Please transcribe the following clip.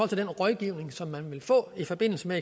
til den rådgivning som man vil få i forbindelse med